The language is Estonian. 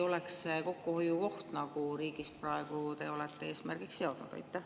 Või oleks see koht kokkuhoiuks, mille te praegu olete riigis eesmärgiks seadnud?